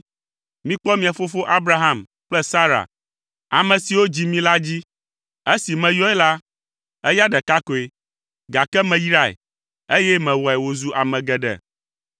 Mikpɔ mia fofo Abraham kple Sara, ame siwo dzi mi la dzi. Esi meyɔe la, eya ɖeka koe, gake meyrae, eye mewɔe wòzu ame geɖe.